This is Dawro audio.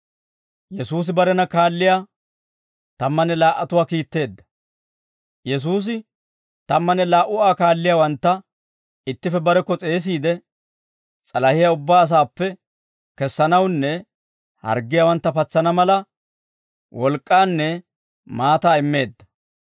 Yesuusi tammanne laa"u Aa kaalliyaawantta ittippe barekko s'eesiide, s'alahiyaa ubbaa asaappe kessanawunne harggiyaawantta patsana mala wolk'k'aanne maataa immeedda.